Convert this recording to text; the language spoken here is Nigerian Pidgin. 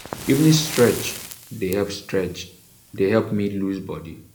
evening stretch dey help stretch dey help me loose body.